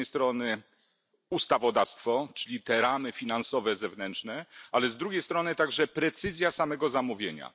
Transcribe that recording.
Z jednej strony ustawodawstwo, czyli te zewnętrzne ramy finansowe, ale z drugiej strony także precyzja samego zamówienia.